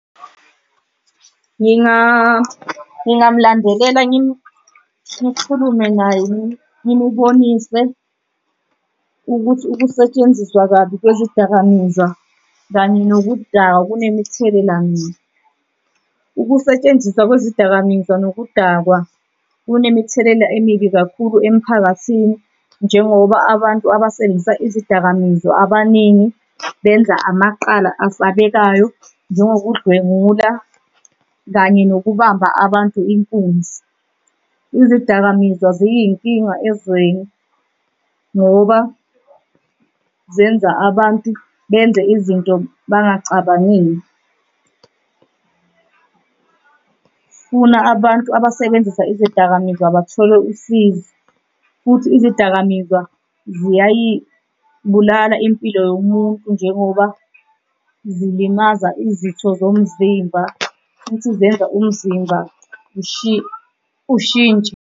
Ngingamulandelela ngikhulume naye ngimubonise ukuthi ukusetshenziswa kabi kwezidakamizwa kanye nokudakwa kunemithelela mibi. Ukusetshenziswa kwezidakamizwa nokudakwa kunemithelela emibi kakhulu emiphakathini njengoba abantu abasebenzisa izidakamizwa abaningi benza amaqala asabekayo njengokudlwengula kanye nokubamba abantu inkunzi. Izidakamizwa ziyinkinga ezweni ngoba zenza abantu benze izinto bengacabangile. Funa abantu abasebenzisa izidakamizwa bathole usizo, futhi izidakamizwa ziyayibulala impilo yomuntu njengoba zilimaza izitho zomzimba futhi zenza umzimba ushintshe.